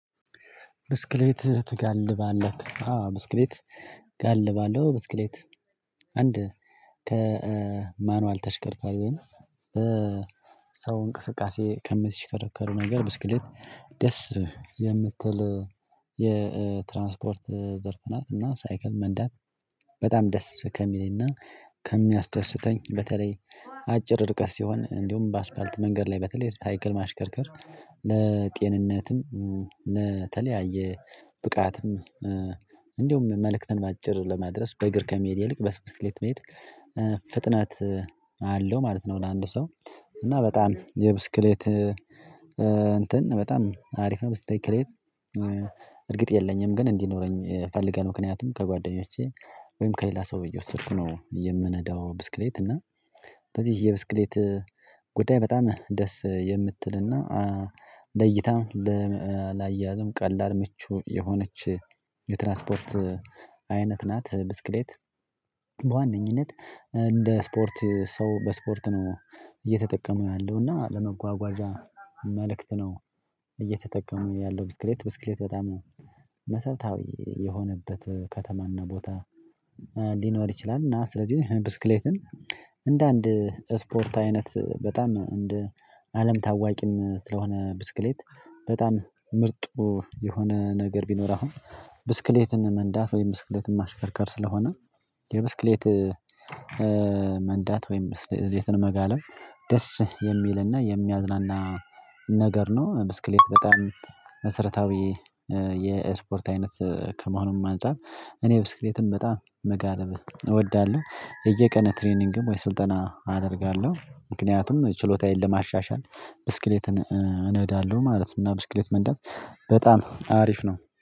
ብስክሌት ትጋልባለህ አዎ ብስክሌት ጋልባለሁ ብስክሌት አንድ ከማኑዋል ተሽከርካሪ ወይም ሰው እንቅስቃሴ ከምትሽከረከሩ ነገር ብስክሌት ደስ የምትል የትራንስፖርት ዘርፍ ናት እና ሳይክል መንዳት በጣም ደስ ከሚለኝና ከሚያስደስተኝ በተለይ አጭር ርቀት ሲሆን እንዲሁም በአስፋልት መንገድ ላይ በተለይ ሳይክል ማሽከርከር ለጤንነትም ለተለያየ ብቃትም እንደውም መልእክትን በአጭር ለማድረስ በእግር ከመሄድ ይልቅ በስብስክሌት መሄድ ፍጥነት አለው ማለት ነው። አንድ ሰው እና በጣም የብስክሌት እንትን በጣም አሪፍ ነው። ብስቴክሌት። እርግጥ የለኝም ግን እንዲኖረኝ ፈልጋለሁ። ምክንያቱም ከጓደኞቼ ወይም ከሌላ ሰው እየወስድኩ ነው የምነዳው ብስክሌት እና። ስለዚህ የብስክሌት ጉዳይ በጣም ደስ የምትልና ለይታም ለላያያዝም ቀላል ምቹ የሆነች የትራንስፖርት አይነት ናት። ብስክሌት በዋነኝነት እንደ ስፖርት ሰው በስፖርት ነው። እየተጠቀሙ ያለው እና ለመጓጓዣ መልእክት ነው እየተጠቀሙ ያለው። ብስክሌት ብስክሌት በጣም መሰረታዊ የሆነበት ከተማና ቦታ ሊኖር ይችላል። እና ስለዚህ ብስክሌትን እንደ አንድ ስፖርት አይነት በጣም እንደ አለም ታዋቂም ስለሆነ ብስክሌት በጣም ምርጡ የሆነ ነገር ቢኖር አሁን ብስክሌትን መንዳት ወይም ብስክሌትን ማሽከርከር ስለሆነ የብስክሌት መንዳት ወይም ብስክሌትን መጋለብ ደስ የሚልና የሚያዝናና ነገር ነው። ብስክሌት በጣም መሰረታዊ የስፖርት አይነት ከመሆኑም አንፃር እኔ ብስክሌትን በጣም መጋለብ እወዳለሁ። እየቀነ ትሬኒንግም ወይስ ስልጠና አደርጋለሁ ምክንያቱም ችሎታዬን ለማሻሻል ብስክሌትን እነዳለሁ ማለት ነው። እና ብስክሌት መንዳት በጣም አሪፍ ነው